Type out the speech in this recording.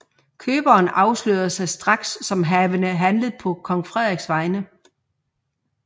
Køberen afslørede sig straks som havende handlet på kong Frederiks vegne